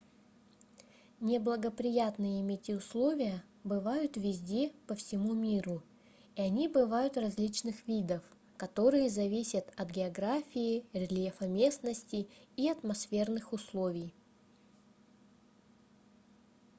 неблагоприятные метеоусловия условия бывают везде по всему миру и они бывают различных видов которые зависят от географии рельефа местности и атмосферных условий